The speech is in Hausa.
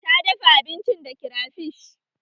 Ta dafa abinci da kirafish